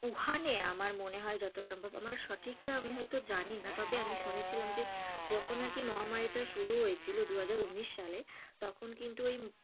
উহানে আমার মনে হয় যত সম্ভব, আমার সঠিকটা আমি হয়তো জানিনা তবে আমি শুনেছিলাম যে যখন আর কি মহামারীটা শুরু হয়েছিল দু হাজার উনিশ সালে তখন কিন্তু ঐ,